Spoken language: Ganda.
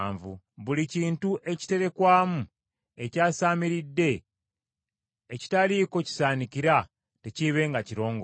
Buli kintu ekiterekwamu ekyasaamiridde ekitaliiko kisaanikira tekiibenga kirongoofu.